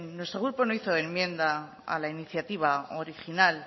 nuestro grupo no hizo enmiendas a la iniciativa original